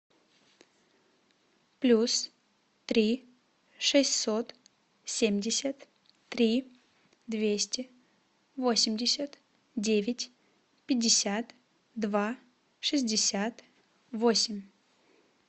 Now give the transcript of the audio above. плюс три шестьсот семьдесят три двести восемьдесят девять пятьдесят два шестьдесят восемь